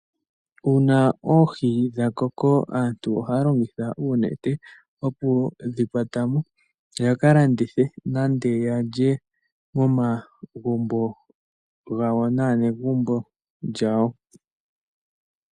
Uuna oohi dha koko aantu ohaya longitha uunete, oku dhi kwata mo ya ka landithe, nenge ya lye momagumbo gawo naanegumbo lyawo.